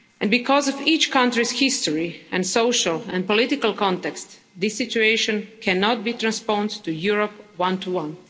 Because of each country's history and social and political context this situation cannot be transposed to Europe one to one.